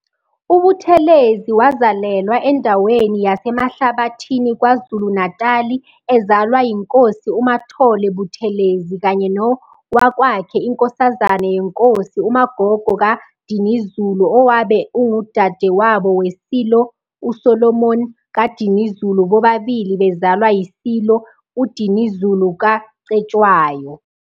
UButhelezi wazalelwa endaweni yaseMahlabathini KwaZulu-Natali ezalwa yiNkosi uMathole Buthelezi kanye nowakwakhe iNkosazane yeNkosi uMagogo kaDinizulu owabe ungudadewabo weSilo uSolomon kaDinizulu bobabilii bezalwa yiSilo UDinizulu kaCetshwayo.